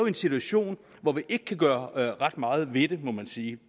en situation hvor vi ikke kan gøre ret meget ved det må man sige